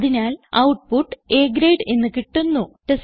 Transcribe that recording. അതിനാൽ output A grade എന്ന് കിട്ടുന്നു